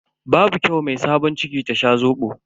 Babu kyau mai sabon ciki ta sha Zobo.